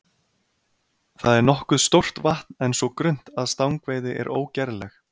Það er nokkuð stórt vatn en svo grunnt að stangveiði er ógerleg.